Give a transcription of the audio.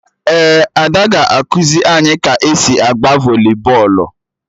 Ee, Ada ga-ekuzi anyị ka-esi agba voli bọọlụ